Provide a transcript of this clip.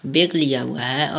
Bag लिया हुआ है।